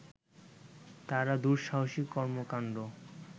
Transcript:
তারা দুঃসাহাসিক কর্মকাণ্ড